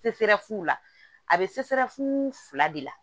la a bɛ fila de la